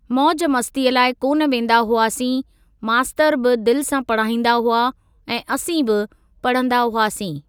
मौज मस्तीअ लाइ कोन वेंदा हुआसीं मास्तर बि दिलि सां पढ़ाईंदा हुआ ऐं असीं बि पढंदा हुआसीं।